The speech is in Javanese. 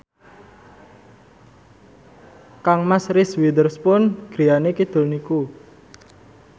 kangmas Reese Witherspoon griyane kidul niku